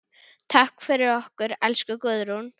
Takk fyrir okkur, elsku Guðrún.